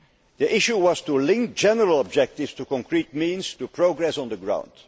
The issue was to link general objectives to concrete means, to make progress on the ground.